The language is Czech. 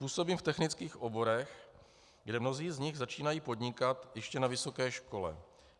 Působím v technických oborech, kde mnozí z nich začínají podnikat ještě na vysoké škole.